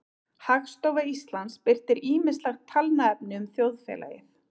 Hagstofa Íslands birtir ýmislegt talnaefni um þjóðfélagið.